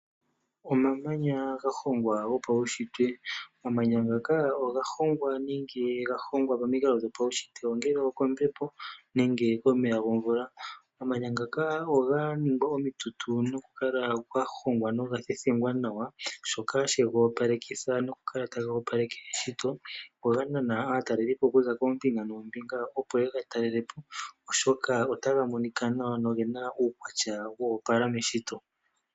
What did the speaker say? Omamanya ga hongwa go pawushitwe Momikalo dhopaushitwe. Omamanya ngaka oga hongwa momikalo dhopaushitwe ongele okombepo nenge komeya gomvula. Omamanya ngaka oga ningwa omitutu noku kala ga hongwa noga thethengwa nawa shoka shega opalekitha eshito. Oga nana aatalelipo okuza koombinga noombinga opo yega talelapo oshoka otaga monika nawa nogena uukwatya wa opala meshito.